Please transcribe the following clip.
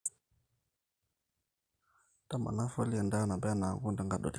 ntamana folliar endaa nabaa enaa enkung tenkadori